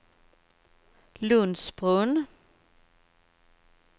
Lundsbrunn